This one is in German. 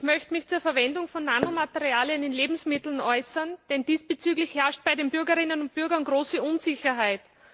Ich möchte mich zur Verwendung von Nanomaterialien in Lebensmitteln äußern, denn diesbezüglich herrscht bei den Bürgerinnen und Bürgern große Unsicherheit.